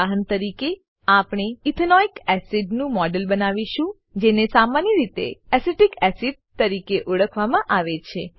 ઉદાહરણ તરીકે આપણે ઇથેનોઇક એસિડ નું મોડેલ બનાવીશું જેને સામાન્ય રીતે એસિટિક એસિડ તરીકે ઓળખવામાં આવે છે